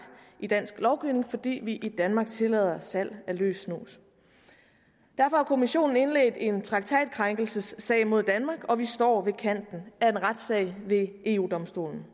i dansk lovgivning fordi vi i danmark tillader salg af løs snus derfor har kommissionen indledt en traktatkrænkelsessag mod danmark og vi står ved kanten af en retssag ved eu domstolen